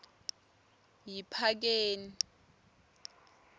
yiphakeni